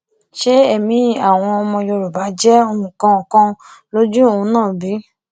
ṣé ẹmí àwọn ọmọ yorùbá jẹ nǹkan kan lójú òun náà bí